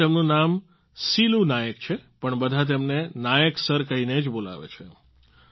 આમ તો તેમનું નામ સિલૂ નાયક છે પણ બધા તેમને નાયક સર કહીને જ બોલાવે છે